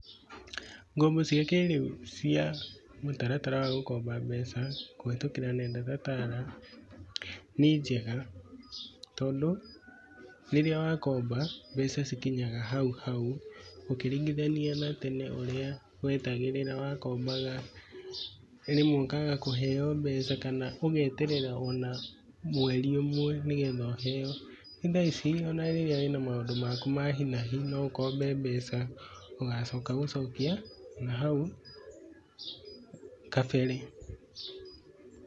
Ngombo cia kĩrĩu cia mũtaratara wa gũkomba mbeca kũhetũkĩra nenda ta Tala, nĩ njega tondũ, rĩrĩa wakomba mbeca cikinyaga hau hau ũkĩringithania na tene ũrĩa wetagĩrĩra wakombaga rĩmwe ũkaga kũheo mbeca kana ũgeterera ona mweri ũmwe nĩ getha ũheo. Thaa ici ona rĩrĩa wĩna maũndũ maku ma hi na hi, no ũkombe mbeca ũgacoka gũcokia, na hau kabere.